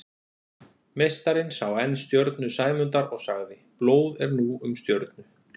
Meistarinn sá enn stjörnu Sæmundar og sagði: Blóð er nú um stjörnu